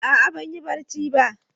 A'a ban yi barci ba.